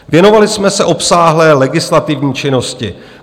Věnovali jsme se obsáhle legislativní činnosti.